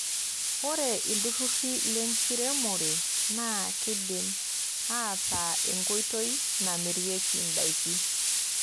Ore ilturruri lenkiremore naa keidim aataa enkoitoi namirieki indaiki.